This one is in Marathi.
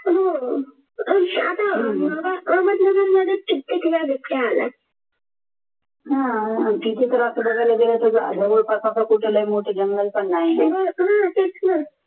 आता अहमदनगर मध्ये तिथे तर असं बघायला गेला तर कुठे लय मोठे जंगल पण नाही